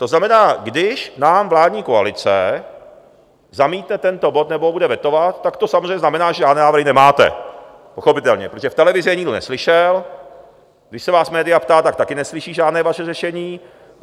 To znamená, když nám vládní koalice zamítne tento bod nebo ho bude vetovat, tak to samozřejmě znamená, že žádné návrhy nemáte, pochopitelně, protože v televizi je nikdo neslyšel, když se vás média ptala, tak také neslyší žádné vaše řešení.